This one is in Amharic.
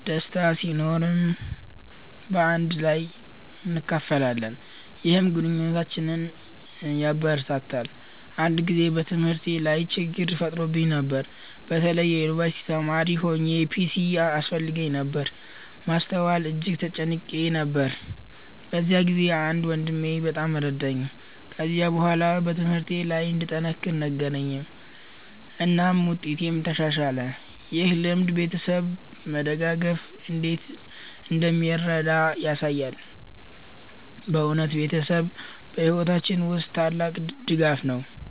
ደስታ ሲኖርም በአንድ ላይ እናካፍላለን፣ ይህም ግንኙነታችንን ያበረታታል። አንድ ጊዜ በትምህርቴ ላይ ችግኝ ተፈጥሮብኝ ነበር። በተለይ የዩንቨርሲቲ ተማሪ ሆኘ ፒሲ ያስፈልገኝ ነበር ማስተዋል እጅግ ተጨንቄ ነበር። በዚያ ጊዜ አንድ ወንድሜ በጣም ረዳኝ። ከዚያ በኋላ ትምህርቴ ለይ እንድጠነክር ነገረኝ እናም ውጤቴም ተሻሻለ። ይህ ልምድ ቤተሰብ መደጋገፍ እንዴት እንደሚረዳ አሳየኝ። በእውነት ቤተሰብ በሕይወታችን ውስጥ ታላቅ ድጋፍ ነው።